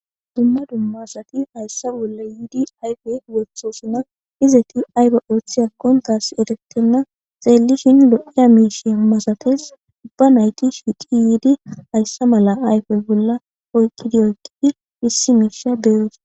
Duma duma asati haysa bola yidi ayfe wotosona izeti ayba othiyakon tas odetena xelishini lo'iya mishi masates uba nayti shiqi yidi haysa mala ayfe bola oyqidi oyqidi issi misha be'osona.